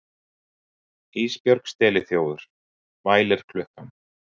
Ísbjörg steliþjófur, vælir klukkan.